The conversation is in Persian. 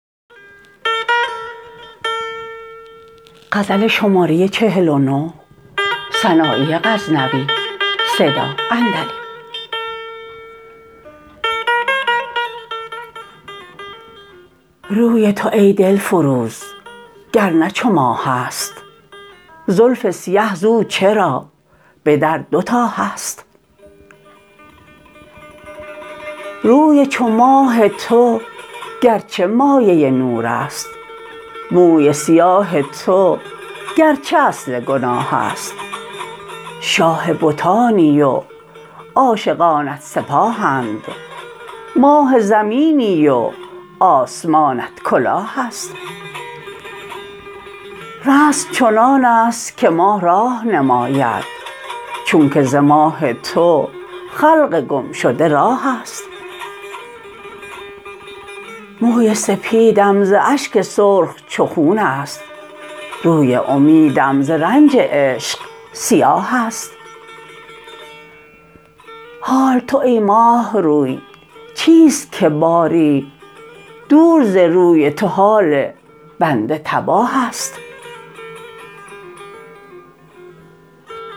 روی تو ای دلفروز گر نه چو ماهست زلف سیه زو چرا بدر دو تا هست روی چو ماه تو گرچه مایه نور است موی سیاه تو گرچه اصل گناهست شاه بتانی و عاشقانت سپاهند ماه زمینی و آسمانت کلاهست رسم چنانست که ماه راه نماید چونکه ز ماه تو خلق گمشده راهست موی سپیدم ز اشک سرخ چو خونست روی امیدم ز رنج عشق سیاهست حال تو ای ماه روی چیست که باری دور ز روی تو حال بنده تباهست